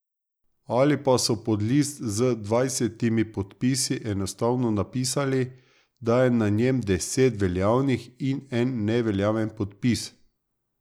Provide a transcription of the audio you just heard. Ali pa so pod list z dvanajstimi podpisi enostavno napisali, da je na njem deset veljavnih in en neveljaven podpis...